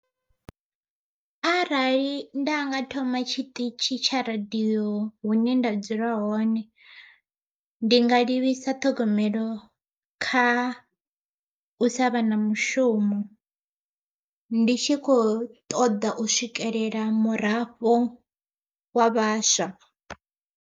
Arali nda nga thoma tshiṱitshi tsha radiyo hune nda dzula hone, ndi nga livhisa ṱhogomelo kha u savha na mushumo. Ndi tshi kho ṱoḓa u swikelela murafho wa vhaswa.